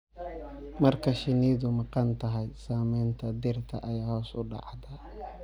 Marka shinnidu maqan tahay, saamaynta dhirta ayaa hoos u dhacda.